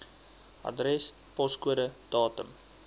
adres poskode datum